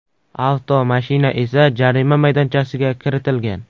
Avtomashina esa jarima maydonchasiga kiritilgan.